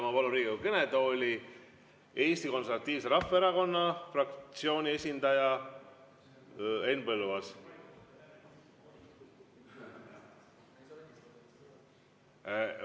Ma palun Riigikogu kõnetooli Eesti Konservatiivse Rahvaerakonna fraktsiooni esindaja Henn Põlluaasa.